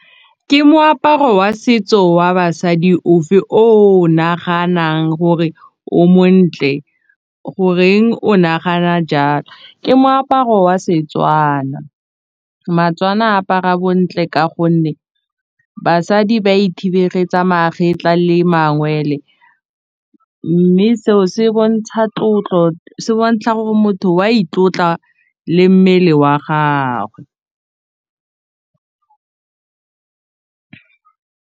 Ke moaparo wa setso wa basadi ofe o o naganang gore o montle goreng o nagana jalo, ke moaparo wa Setswana apara bontle ka gonne basadi ba ithibebegetsa magetla le mangwele mme seo se bontsha tlotlo se bontsha gore motho wa itlotla le mmele wa gagwe.